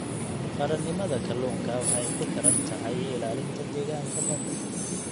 Qaranimada kalluunka waxa ay ku xidhan tahay ilaalinta deegaanka badda.